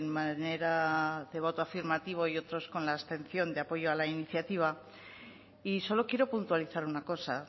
manera de voto afirmativo y otros con la abstención de apoyo a la iniciativa y solo quiero puntualizar una cosa